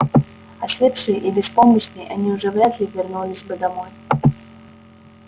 ослепшие и беспомощные они уже вряд ли вернулись бы домой